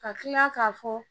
Ka kila k'a fɔ